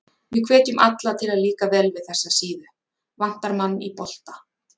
Við hvetjum alla til að líka vel við þessa síðu, Vantar mann í bolta?